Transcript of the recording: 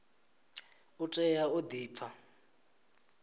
u tea u di pfa